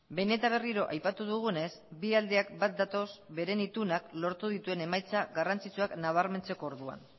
behin eta berriro aipatu dugunez bi aldeak bat datoz beren itunak lortu dituen emaitza garrantzitsuak nabarmentzeko orduan